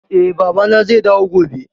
Eh, Baba na zai dawo gobe